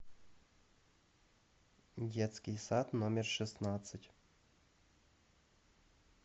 детский сад номер шестнадцать